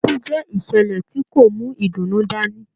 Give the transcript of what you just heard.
Ikú jẹ ìṣẹlẹ tí kò mú ìdùnnú dání.